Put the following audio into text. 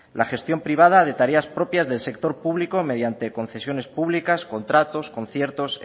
la gestión privada de tareas propias del sector público mediante concesiones públicas contratos conciertos